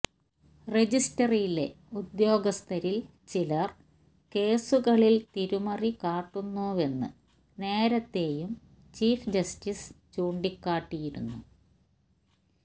രജിസ്ട്രിയിലെ ഉദ്യോഗസ്ഥരില് ചിലര് കേസുകളില് തിരിമറി കാട്ടുന്നുവെന്ന് നേരത്തെയും ചീഫ് ജസ്റ്റിസ് ചൂണ്ടിക്കാട്ടിയിരുന്നു